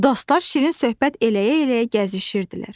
Dostlar şirin söhbət eləyə-eləyə gəzişirdilər.